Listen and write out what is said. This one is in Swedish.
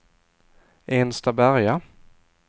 Enstaberga